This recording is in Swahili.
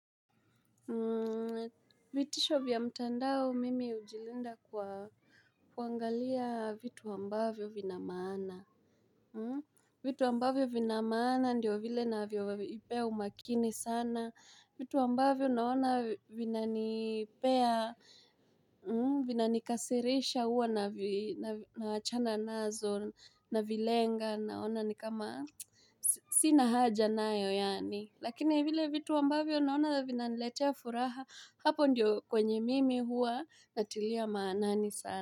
Vitisho vya mtandao mimi hujilinda kwa kuangalia vitu ambavyo vina maana vitu ambavyo vina maana ndiyo vile ninavyovipea umakini sana vitu ambavyo naona vinanipea vinanikasirisha huwa naachana nazo navilenga naona ni kama sina haja nayo yani Lakini vile vitu ambavyo naona vinaniletea furaha hapo ndiyo kwenye mimi huwa natilia maanani sana.